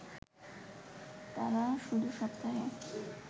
তারা শুধু সপ্তাহে